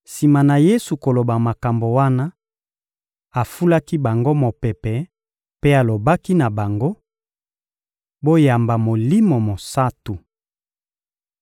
Sima na Yesu koloba makambo wana, afulaki bango mopepe mpe alobaki na bango: — Boyamba Molimo Mosantu!